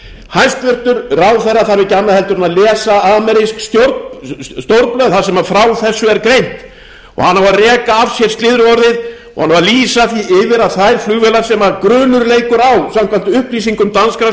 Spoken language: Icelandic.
hæstvirtur ráðherra þarf ekki annað en að lesa amerísk stórblöð þar sem frá þessu er greint og hann á að reka af sér slyðruorðið og hann á að lýsa því yfir að þær flugvélar sem grunur leikur á samkvæmt upplýsingum danskra